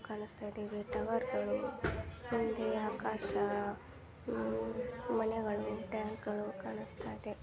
ಕಾಣುಸ್ತಾಯಿದೆ ಟವರ್ಗಳು ಹಿಂದೆ ಆಕಾಶ ಮನೆಗಳು ಟ್ಯಾಂಕ್ಗ ಳು ಕಾಣುಸ್ತಾಯಿದೆ.